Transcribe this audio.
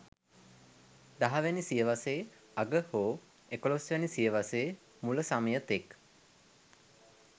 දහවැනි සියවසේ අග හෝ එකොළොස්වැනි සියවසේ මුල සමය තෙක්